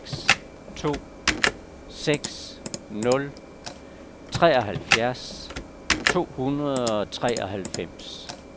seks to seks nul treoghalvfjerds to hundrede og treoghalvfems